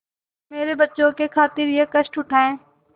मेरे बच्चों की खातिर यह कष्ट उठायें